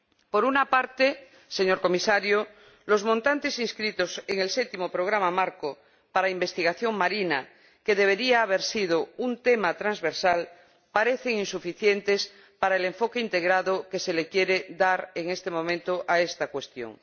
Por una parte, señor Comisario, los montantes inscritos en el Séptimo Programa Marco para investigación marina, que debería haber sido un tema transversal, parecen insuficientes para el enfoque integrado que se le quiere dar en este momento a esta cuestión.